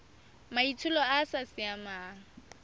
maitsholo a a sa siamang